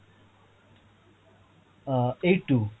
uh eight two